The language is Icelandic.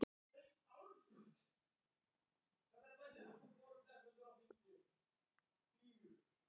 Það er frábært að vinna titilinn að nýju.